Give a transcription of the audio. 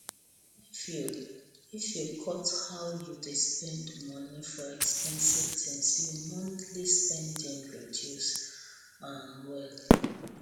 if you if you cut how you dey spend moni for expensive tins your monthly spending reduce um well